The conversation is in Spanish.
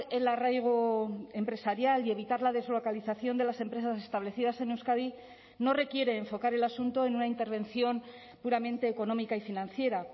el arraigo empresarial y evitar la deslocalización de las empresas establecidas en euskadi no requiere enfocar el asunto en una intervención puramente económica y financiera